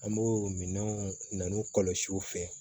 An b'o minɛnw na n'u kɔlɔsiw fɛ